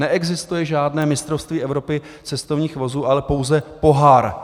Neexistuje žádné Mistrovství Evropy cestovních vozů, ale pouze pohár.